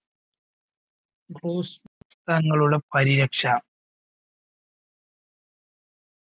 പരിരക്ഷ